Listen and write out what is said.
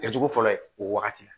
Kɛ cogo fɔlɔ ye o wagati